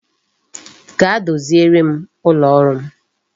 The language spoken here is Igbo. Gaa doziere m ụlọ ọrụ m